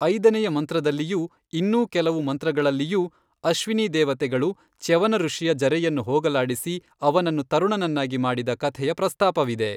ಐದನೆಯ ಮಂತ್ರದಲ್ಲಿಯೂ, ಇನ್ನೂ ಕೆಲವು ಮಂತ್ರಗಳಲ್ಲಿಯೂ, ಅಶ್ವಿನೀದೇವತೆಗಳು ಚ್ಯವನಋಷಿಯ ಜರೆಯನ್ನು ಹೋಗಲಾಡಿಸಿ ಅವನನ್ನು ತರುಣನನ್ನಾಗಿ ಮಾಡಿದ ಕಥೆಯ ಪ್ರಸ್ತಾಪವಿದೆ.